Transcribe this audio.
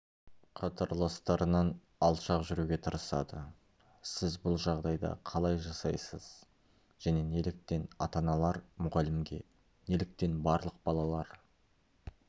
қатарластарынан алшақ жүруге тырысады сіз бұл жағдайда қалай жасайсыз және неліктен ата-аналар мұғалімге неліктен барлық балалар